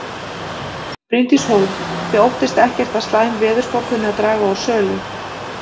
Bryndís Hólm: Þið óttist ekkert að slæm veðurspá kunni að draga úr sölu?